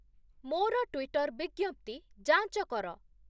ମୋର ଟ୍ୱିଟର ବିଜ୍ଞପ୍ତି ଯାଞ୍ଚ କର